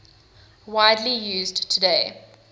widely used today